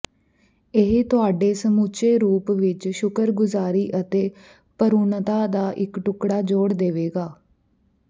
ਇਹ ਤੁਹਾਡੇ ਸਮੁੱਚੇ ਰੂਪ ਵਿੱਚ ਸ਼ੁਕਰਗੁਜ਼ਾਰੀ ਅਤੇ ਭਰੂਣਤਾ ਦਾ ਇੱਕ ਟੁਕੜਾ ਜੋੜ ਦੇਵੇਗਾ